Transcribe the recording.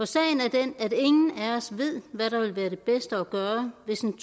sagen er den at ingen af os ved hvad der vil være det bedste at gøre hvis en